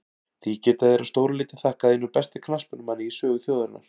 Því geta þeir að stóru leyti þakkað einum besta knattspyrnumanni í sögu þjóðarinnar.